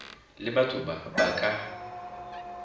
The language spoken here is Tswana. le batho ba ba ka